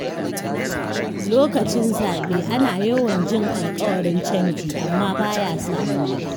Lokacin zaɓe, ana yawan jin alƙawarin canji, amma baya samuwa.